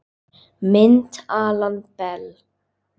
Mynd Alan Bell